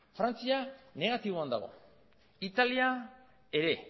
frantzia negatiboan dago italia ere